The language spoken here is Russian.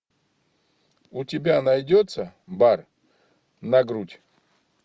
у тебя найдется бар на грудь